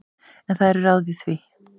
En það eru ráð við því.